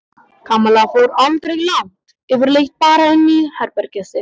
Kamilla fór aldrei langt yfirleitt bara inn í herbergið sitt.